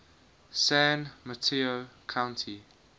san mateo county